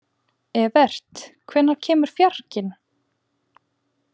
Evert, hvenær kemur fjarkinn?